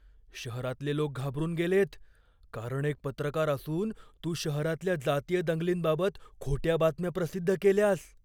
शहरातले लोक घाबरून गेलेत, कारण एक पत्रकार असून तू शहरातल्या जातीय दंगलींबाबत खोट्या बातम्या प्रसिद्ध केल्यास.